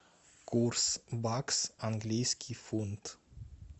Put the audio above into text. курс бакс английский фунт